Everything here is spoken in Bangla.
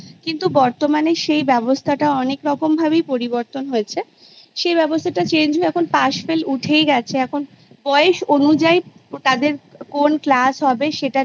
কিন্তু বর্তমানে সেই ব্যবস্থাটা অনেকরকম ভাবেই পরিবর্তন হয়েছে সে ব্যবস্থাটা Change হয়ে এখন Pass Fail উঠেই গেছে এখন বয়স অনুযায়ী তাদের কোন Class হবে সেটা